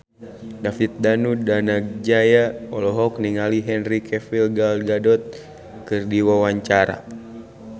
David Danu Danangjaya olohok ningali Henry Cavill Gal Gadot keur diwawancara